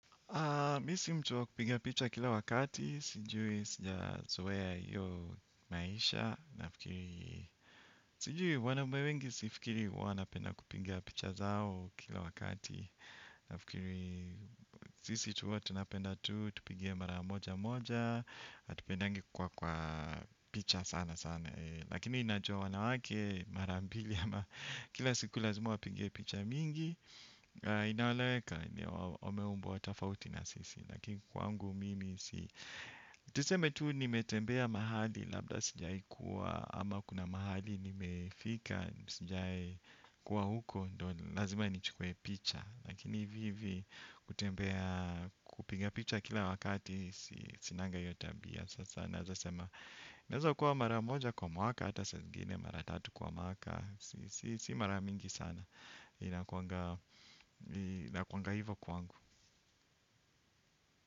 Mi si mtu wa kupiga picha kila wakati sijui sija zowea iyo maisha nafikiri sijui wanaume wengi sifikiri wana penda kupinga picha zao kila wakati nafikiri sisi tuwa tunapenda tu tupinge mara moja moja atupendangi kuwa kwa picha sana sana lakini najua wanawake mara mbili ama kila siku lazima wapige picha mingi inaoleweka wameumbwa tafauti na sisi. Lakini kwangu mimi si tiseme tuu nimetembea mahali. Labda sijai kuwa ama kuna mahali. Nimefika sijai kuwa huko. Ndo lazima nichukue picha. Lakini hivi hivi kutembea kupiga picha kila wakati sinanga iyo tabia. Sasa naza sema inaeza kuwa mara moja kwa mwaka. Hata saa zingine mara tatu kwa mwaka. Si mara mingi sana. Inakuanga hivo kwangu.